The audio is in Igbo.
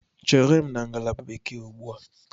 Chere m na ngalaba Bekee ugbu a!